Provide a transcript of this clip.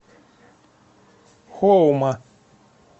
хоума